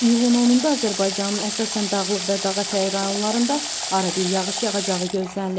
İyulun 10-da Azərbaycanın əsasən dağlıq və dağaətəyi rayonlarında arabir yağış yağacağı gözlənilir.